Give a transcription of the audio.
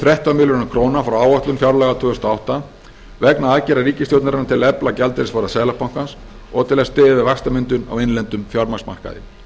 þrettán milljörðum króna frá áætlun fjárlaga tvö þúsund og átta vegna aðgerða ríkisstjórnarinnar til að efla gjaldeyrisvaraforða seðlabankans og til að styðja við vaxtamyndun á innlendum fjármagnsmarkaði